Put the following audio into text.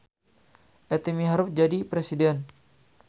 Ety miharep jadi presiden